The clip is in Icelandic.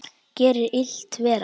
Gerir illt verra.